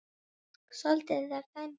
Átti Fram að fá víti?